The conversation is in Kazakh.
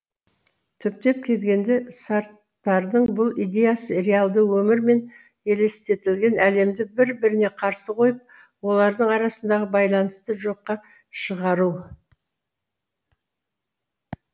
түптеп келгенде сарттардың бұл идеясы реалды өмір мен елестетілген әлемді бір біріне қарсы қойып олардың арасындағы байланысты жоққа шығару